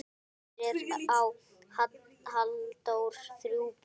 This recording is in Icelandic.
Fyrir á Halldór þrjú börn.